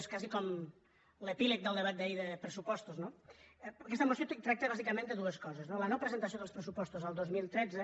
és quasi com l’epíleg del debat d’ahir de pressupostos no aquesta moció tracta bàsicament de dues coses no la no presentació dels pressupostos el dos mil tretze